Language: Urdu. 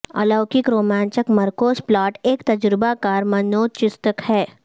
الوکک رومانچک مرکوز پلاٹ ایک تجربہ کار منوچیکتسک ہے